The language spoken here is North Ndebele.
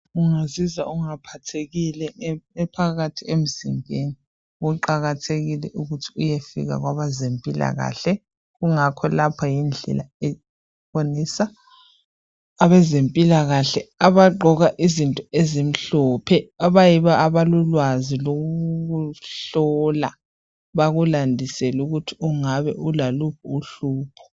Ungazizwa ungaphathekile phakathi emzimbeni kuqakathekile ukuthi uyefika kwabezempilakahle. Kungakho lapha yindlela ebonisa abezempilakahle abagqoke ezimhlophe, abayibo abalolwazi lokuhlola bakulandisele ukuthi ungabe ulaluphi uhlupho.